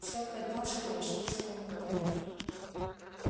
сатт поднялся и вышел из комнаты